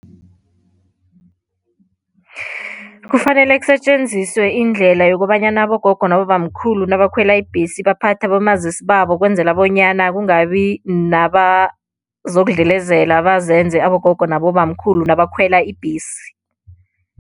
Kufanele kusetjenziswe indlela yokobanyana abogogo nabobamkhulu nabakhwela ibhesi baphathe abomazisi babo ukwenzela bonyana kungabi nabazokudlelezela bazenze abogogo nabobamkhulu nabakhwela ibhesi.